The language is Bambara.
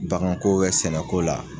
Baganko sɛnɛko la